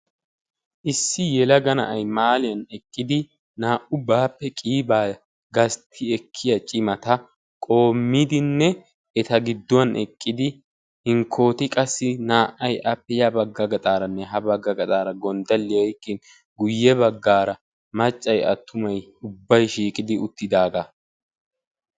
Issi yelaga na'ay mahaaliyaan eqqidi naa"u baappe qiibaa gastti ekkiyaa cimata qoommidinne eta gidduwaan eqqidi hinkkoti qassi naa"ay appe ya bagga gaxxaaranne ha bagga gaxaara gonddaliyaa oyqqi uttidaagaa.